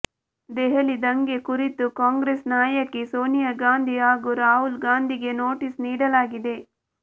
ದೆಹಲಿ ದಂಗೆ ಕುರಿತು ಕಾಂಗ್ರೆಸ್ ನಾಯಕಿ ಸೋನಿಯಾ ಗಾಂಧಿ ಹಾಗೂ ರಾಹುಲ್ ಗಾಂಧಿಗೆ ನೊಟೀಸ್ ನೀಡಲಾಗಿದೆ